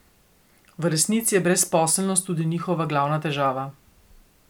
V resnici je brezposelnost tudi njihova glavna težava.